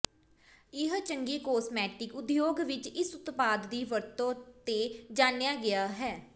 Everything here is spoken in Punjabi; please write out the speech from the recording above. ਇਹ ਚੰਗੀ ਕਾਸਮੈਟਿਕ ਉਦਯੋਗ ਵਿੱਚ ਇਸ ਉਤਪਾਦ ਦੀ ਵਰਤੋ ਤੇ ਜਾਣਿਆ ਗਿਆ ਹੈ